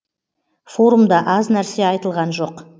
форумда аз нәрсе айтылған жоқ